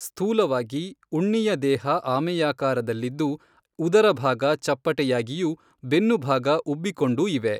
ಸ್ಥೂಲವಾಗಿ ಉಣ್ಣಿಯ ದೇಹ ಆಮೆಯಾಕಾರದಲ್ಲಿದ್ದು ಉದರಭಾಗ ಚಪ್ಪಟೆ ಯಾಗಿಯೂ ಬೆನ್ನುಭಾಗ ಉಬ್ಬಿ ಕೊಂಡೂ ಇವೆ.